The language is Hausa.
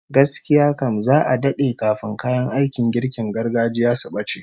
Gaskiya kam, za'a dade kafin kayan aikin girkin gargajiya su bace